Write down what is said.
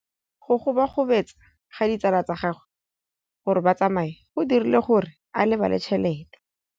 Go gobagobetsa ga ditsala tsa gagwe, gore ba tsamaye go dirile gore a lebale tšhelete.